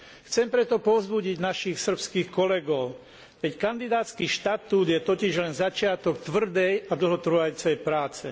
Chcem preto povzbudiť našich srbských kolegov. Veď kandidátsky štatút je totiž len začiatok tvrdej a dlhotrvajúcej práce.